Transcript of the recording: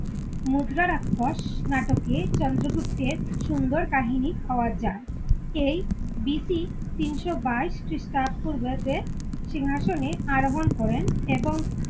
মুদ্রা রাক্ষস নাটকে চন্দ্রগুপ্তের সুন্দর কাহিনী পাওয়া যায়। এই বিতি তিনশো বাইশ খ্রিস্টপূর্বাব্দে সিংহাসনে আরোহন করে এবং,